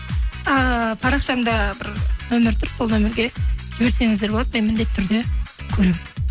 ааа парақшамда бір нөмір тұр сол нөмірге жіберсеңіздер болады мен міндетті түрде көремін